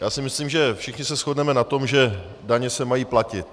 Já si myslím, že všichni se shodneme na tom, že daně se mají platit.